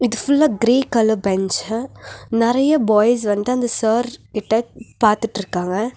இது ஃபுல்லா grey colour bench நறைய பாய்ஸ் வந்து அந்த சார் கிட்ட பாத்துட்ருக்காங்க.